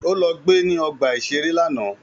Ó lọ gbe ní ọgbà-ìṣeré lánàá